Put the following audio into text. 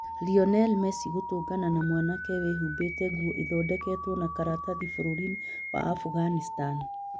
Lionel Messi gũtũngana na mwanake wĩhumbĩte nguo ithondeketwo na karatathi bũrũriinĩ wa Afghanistan